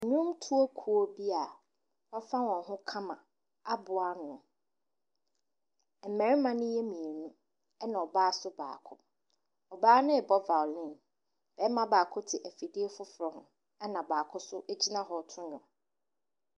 Nnwontoɔ kuo bi a wɔafa wɔn ho kama aboa ano. Mmarima no yɛ mmienu, ɛna ɔbaa nso baako. Ɔbaa no rebɔ violine. Barima baako te afidie foforɔ ho, ɛna baako nso gyina hɔ reto nnwom.